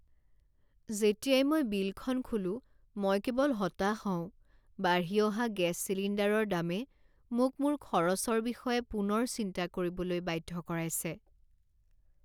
যেতিয়াই মই বিলখন খোলো, মই কেৱল হতাশ হওঁ। বাঢ়ি অহা গেছ চিলিণ্ডাৰৰ দামে মোক মোৰ খৰচৰ বিষয়ে পুনৰ চিন্তা কৰিবলৈ বাধ্য কৰাইছে।